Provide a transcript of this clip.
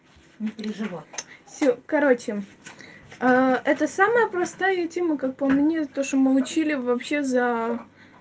не переживай все короче это самая простая тема как по мне то что мы учили вообще за